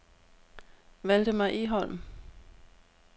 Valdemar Egholm